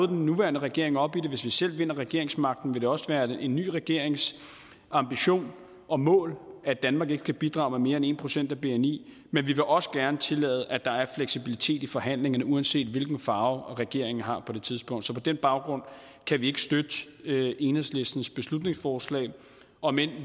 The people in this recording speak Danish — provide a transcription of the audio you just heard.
den nuværende regering op i det og hvis vi selv vinder regeringsmagten vil det også være en ny regerings ambition og mål at danmark ikke skal bidrage med mere end en procent af bni men vi vil også gerne tillade at der er fleksibilitet i forhandlingerne uanset hvilken farve regeringen har på det tidspunkt så på den baggrund kan vi ikke støtte enhedslistens beslutningsforslag om end